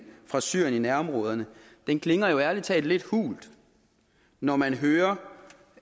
fra syrien i nærområderne klinger jo ærlig talt lidt hult når man hører